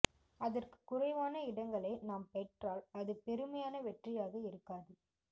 அதற்கு குறைவான இடங்களை நாம் பெற்றால் அது பெருமையான வெற்றியாக இருக்காது